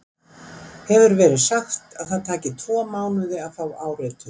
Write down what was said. Hefur verið sagt að það taki tvo mánuði að fá áritun.